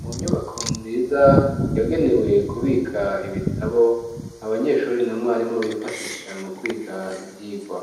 Mu nyubako nziza yagenewe kubika ibitabo abanyeshuri na mwarimu bifashisha mu kwiga ivyigwa